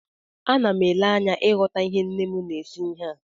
Ana m ele anya ịghọta ihe nne m na-esi ihe a